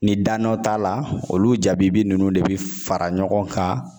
Ni danɔ t'a la olu jabibi ninnu de bɛ fara ɲɔgɔn kan